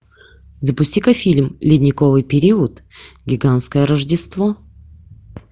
запусти ка фильм ледниковый период гигантское рождество